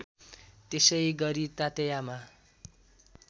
त्यसै गरी तातेयामा